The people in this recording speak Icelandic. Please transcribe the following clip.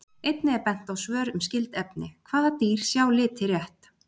Einnig er bent á svör um skyld efni: Hvaða dýr sjá liti rétt?